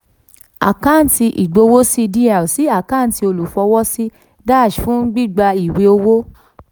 àkáǹtì ìgbowósí dr sí àkáǹtì olùfọwọ́sí dash fún gbígba ìwé owó.